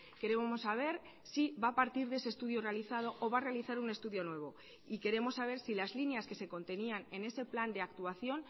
queremos saber si va a partir de ese estudio realizado o va a realizar un estudio nuevo y queremos saber si las líneas que se contenían en ese plan de actuación